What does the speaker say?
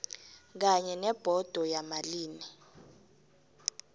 kanye nebhodo yamalimi